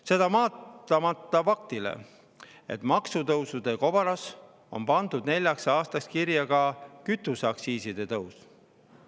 Seda vaatamata faktile, et maksutõusude kobaras on pandud neljaks aastaks kirja ka kütuseaktsiisi tõus.